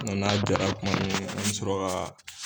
Mɛ n'a jara kuma min an bɛ sɔrɔ ka